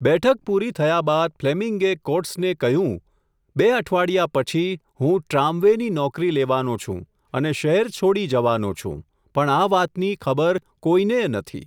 બેઠક પૂરી થયા બાદ ફ્લેમીંગે કોટ્સને કહ્યું, બે અઠવાડિયા પછી, હું ટ્રામ વૅ ની નોકરી લેવાનો છું, અને શહેર છોડી જવાનો છું, પણ આ વાતની ખબર કોઈનેય નથી.